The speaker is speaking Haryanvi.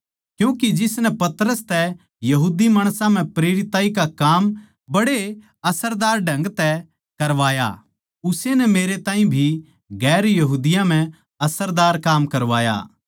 क्यूँके जिसनै पतरस तै यहूदी माणसां म्ह प्रेरिताई का काम बड़े असरदार ढंग तै करवाया उस्से नै मेरै तै भी गैर यहूदियाँ म्ह असरदार काम करवाया